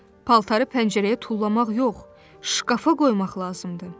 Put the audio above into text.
"Paltarı pəncərəyə tullamaq yox, şkafa qoymaq lazımdır!"